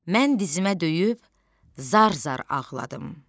Mən dizimə döyüb zar-zar ağladım.